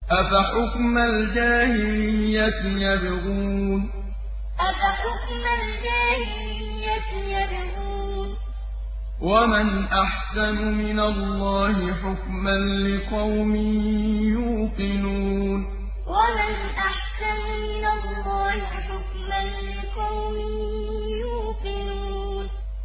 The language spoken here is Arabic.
أَفَحُكْمَ الْجَاهِلِيَّةِ يَبْغُونَ ۚ وَمَنْ أَحْسَنُ مِنَ اللَّهِ حُكْمًا لِّقَوْمٍ يُوقِنُونَ أَفَحُكْمَ الْجَاهِلِيَّةِ يَبْغُونَ ۚ وَمَنْ أَحْسَنُ مِنَ اللَّهِ حُكْمًا لِّقَوْمٍ يُوقِنُونَ